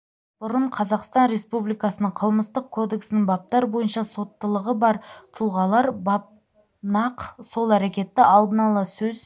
бұрын қазақстан республикасының қылмыстық кодексінің баптар бойынша соттылығы бар тұлғалар бап нақ сол әрекетті алдын-ала сөз